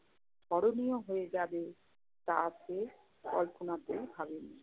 স্মরণীয় হয়ে যাবে তা সে কল্পনাতেও ভাবেনি।